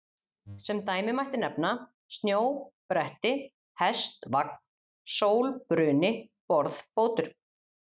Sem dæmi mætti nefna: snjó-bretti, hest-vagn, sól-bruni, borð-fótur.